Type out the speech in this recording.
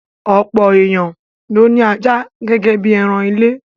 Ọ̀pọ̀ èèyàn ló ní ajá gẹ́gẹ́ bí ẹran ilé.